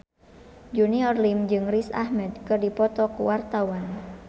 Junior Liem jeung Riz Ahmed keur dipoto ku wartawan